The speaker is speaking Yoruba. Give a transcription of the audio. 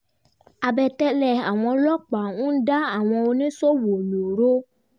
àbẹ̀tẹ́lẹ̀ àwọn ọlọ́pàá ń dá àwọn oníṣòwò lóró